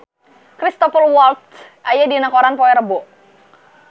Cristhoper Waltz aya dina koran poe Rebo